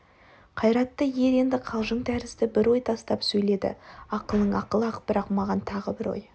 қайратты ер енді қалжың тәрізді бір ой тастап сөйледі ақылың ақыл-ақ бірақ маған тағы бір ой